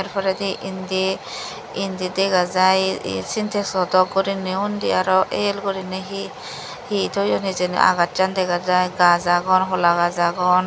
se poredi indi indi dega jai ye sintexo dok gurinei undi araw el guri hi hi toyon hijeni agassan dega jai gaz agon hola gaz agon.